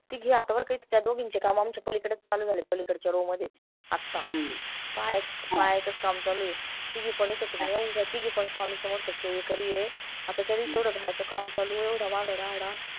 तिघी आता बर का इथं त्या दोघींचे काम आमच्या पलीकडचं चालू झाले पलीकडच्या Row मधेच आता पाहायचं पाहायचंच काम चालू ए तिघी पण इथंच येवढं तिघीं पण स्वामी समर्थ सेवेकरी ए आता तरी येवढं घराचं काम चालू ए येवढा वाडा